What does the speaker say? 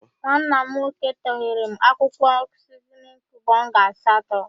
Nwa m n/ nnnnn? //n///nwoke tọgheere m akwụkwọ siznin kiub ọnga asatọ.